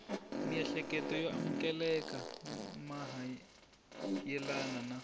miehleketo yo amukeleka mayelana na